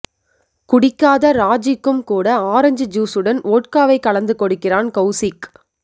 குடிக்காத ராஜிக்கும் கூட ஆரஞ்ச் ஜூஸ் உடன் வோட்காவை கலந்து கொடுக்கிறான் கவுசிக்